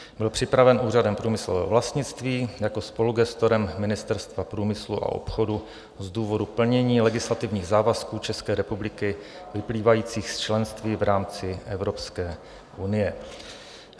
Byl připraven Úřadem průmyslového vlastnictví jako spolugestorem Ministerstva průmyslu a obchodu z důvodu plnění legislativních závazků České republiky, vyplývajících z členství v rámci Evropské unie.